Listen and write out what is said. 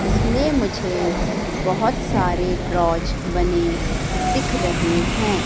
इसमें मुझे बहोत सारे ड्रॉज बने दिख रहे हैं।